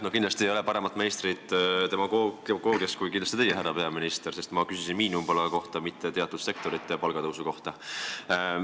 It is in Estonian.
No kindlasti ei ole paremat meistrit demagoogias kui teie, härra peaminister, sest ma küsisin miinimumpalga kohta, mitte teatud sektorite palgatõusu kohta.